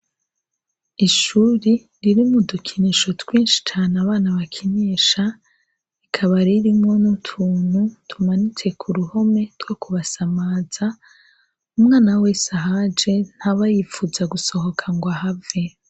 Ishure ririmwo udukinisho abana bakinisha bakaba barimwo utuntu tumanitse kuruhome kubasamaza umwana wese ahaje ntaba yipfuza gusohoka ngo ahave